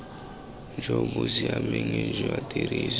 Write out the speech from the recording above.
jo bo siameng jwa tiriso